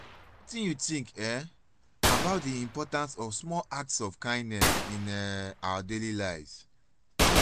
wetin you think um about di importance of small acts of kindness in um our daily lives?